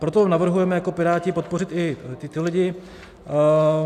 Proto navrhujeme jako Piráti podpořit i tyto lidi.